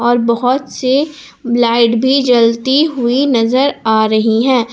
और बहोत से लाइट भी जलती हुई नजर आ रही हैं।